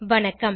வணக்கம்